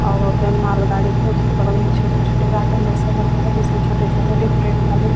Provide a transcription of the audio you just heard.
और मिट्टी भी हम देख पा रहे है ऊपर साइड में आसमान भी साफ दिखाई दे रहा है।